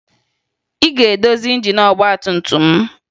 Ị ga-edozi injin ọgbatumtum m!